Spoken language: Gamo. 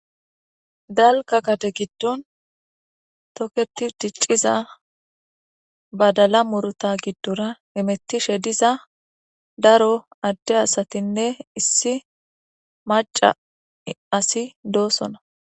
dalga gade giddon toketi dicciza badala murta giddora hemettishe diza daro adde asatinne issi maca asi dosona.